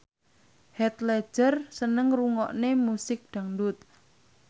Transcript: Heath Ledger seneng ngrungokne musik dangdut